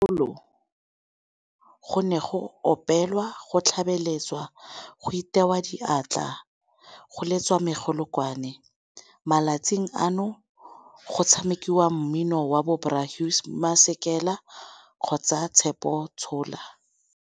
go ne go opelwa go tlhabeletswa go itewa diatla go letswa megolokwane. Malatsing ano go tshamekiwa mmino wa bo Bra Hugh Masikela kgotsa Tshepo Tshola.